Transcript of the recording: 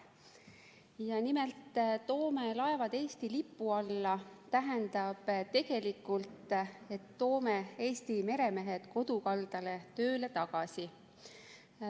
Nimelt, "toome laevad Eesti lipu alla" tähendab tegelikult seda, et toome Eesti meremehed kodukaldale tööle tagasi.